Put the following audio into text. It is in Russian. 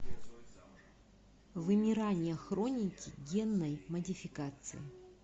вымирание хроники генной модификации